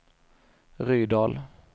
Rydal